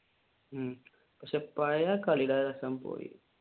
പക്ഷെ പഴയ കളിയുടെ രസം പോയി.